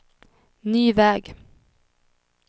ny väg